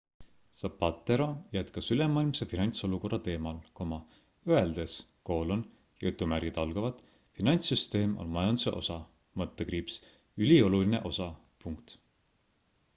zapatero jätkas ülemaailmse finantsolukorra teemal öeldes finantssüsteem on majanduse osa ülioluline osa